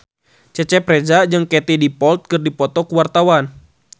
Cecep Reza jeung Katie Dippold keur dipoto ku wartawan